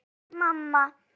hváði mamma.